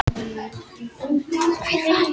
Dýrðina má sjá hér til hliðar.